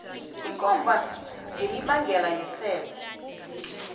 ikomba ngemibandela yerhelo